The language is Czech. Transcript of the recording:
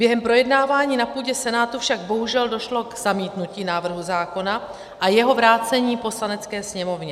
Během projednávání na půdě Senátu však bohužel došlo k zamítnutí návrhu zákona a jeho vrácení Poslanecké sněmovně.